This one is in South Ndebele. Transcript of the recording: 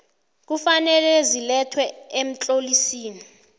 kufanele zilethwe emtlolisini